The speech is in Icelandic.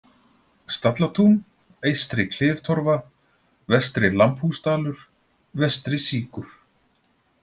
Stallatún, Eystri-Kliftorfa, Vestri-Lambhúsdalur, Vestri-Síkur